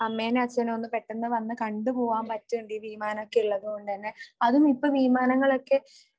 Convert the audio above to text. അമ്മേനേം അച്ഛനേം ഒന്ന് പെട്ടെന്ന് വന്ന് കണ്ടു പോവാൻ പറ്റും വിമാനം ഒക്കെ ഇള്ളതുകൊണ്ട് തന്നെ. അതും ഇപ്പോ വിമാനങ്ങളൊക്കെ